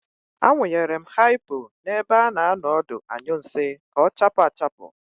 Awụnyere m haipo n'ebe a na-anọ ọdụ anyụ nsị ka ọ chaapụ achapụ.